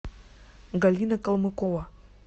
галина калмыкова